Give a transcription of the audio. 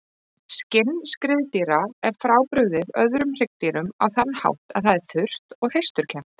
Skinn skriðdýra er frábrugðið öðrum hryggdýrum á þann hátt að það er þurrt og hreisturkennt.